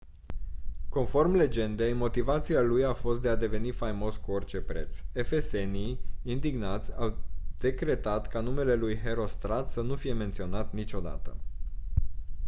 conform legendei motivația lui a fost de a deveni faimos cu orice preț efesenii indignați au decretat ca numele lui herostrat să nu fie menționat niciodată